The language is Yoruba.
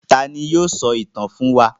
Ta ni yóò sọ ìtàn fún wa?